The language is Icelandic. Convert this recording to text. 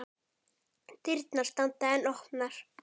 Dyrnar standa enn opnar.